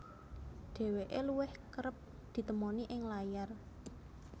Dheweke luwih kereb ditemoni ing layar